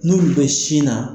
N'olu bɛ sin na.